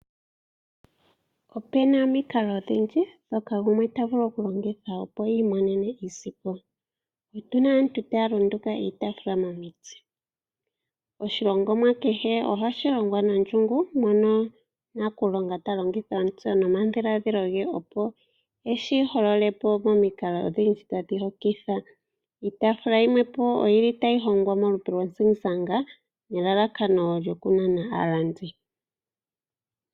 Opu na omikalo odhindji ndhoka gumwe ta vulu okulongitha opo i imonene iisimpo. Otu na aantu taya nduluka iitaafula momiti. Oshilongomwa kehe ohashi longwa nondjungu mono nakulonga ta longitha omutse nomadhiladhilo ge, opo eshi holole po momikalo odhindji tadhi hokitha. Iitaafula yimwe po otayi hongwa molupe lwozigizaka, nelalakano lyokunana aalandi.